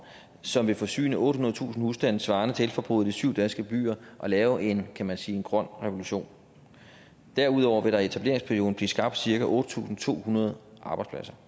som vil forsyne ottehundredetusind husstande svarende til elforbruget i syv danske byer og lave en kan man sige grøn revolution derudover vil der i etableringsperioden blive skabt cirka otte tusind to hundrede arbejdspladser